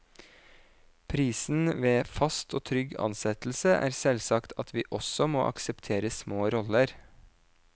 Prisen ved fast og trygg ansettelse er selvsagt at vi også må akseptere små roller.